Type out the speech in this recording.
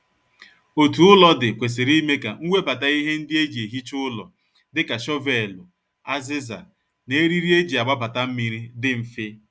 Otu ụlọ dị kwesịrị ime ka nwebata ihe ndi e ji ehicha ụlọ dịka shọvelụ, aziza, na eriri e ji agbabata mmiri dị mfe